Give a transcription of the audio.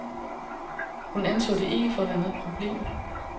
Hun anså det ikke for at være noget problem.